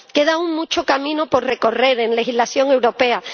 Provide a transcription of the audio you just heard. Queda aún mucho camino por recorrer en legislación europea.